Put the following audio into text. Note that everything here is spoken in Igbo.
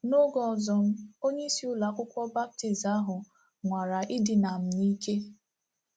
N’oge ọzọ m, onyeisi ụlọ akwụkwọ Baptist ahụ nwara idina m n'ike.